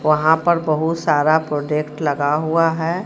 वहां पर बहुत सारा प्रोडक्ट लगा हुआ है.